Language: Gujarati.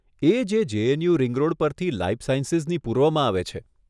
એ જે જેએનયુ રિંગ રોડ પરથી લાઈફ સાયન્સીસની પૂર્વમાં આવે છે.